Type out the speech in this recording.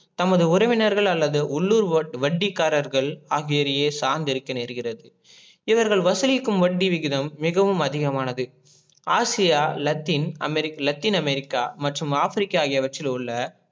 தமது உறவினர்கள் அல்லது உள்ளூர் வட்டிகாரர்கள் ஆகியோரையே சார்ந்து இருக்க நேர்கிறது. இவர்கள் வசூலிக்கும் வட்டி விகிதம் மிகவும் அதிகமானது ஆசியா லத்தின லத்தின் அமெரிக்கா மற்றும் ஆப்ரிக்கா ஆகியவற்றுள்ள